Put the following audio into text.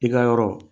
I ka yɔrɔ